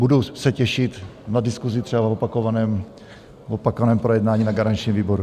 Budu se těšit na diskusi třeba v opakovaném projednání na garančním výboru.